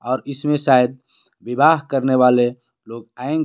और इसमें सायद विवाह करने वाले लोग आएंगे.